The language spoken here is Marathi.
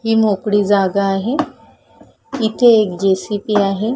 हि मोकळी जागा आहे इथे एक जे.सी.बी. आहे.